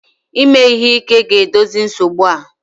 Ime ihe ike ga-edozi nsogbu a?